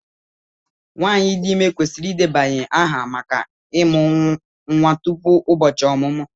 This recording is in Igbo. Nwanyị dị ime kwesịrị ịdebanye aha maka ịmụ nwa tupu ụbọchị ọmụmụ.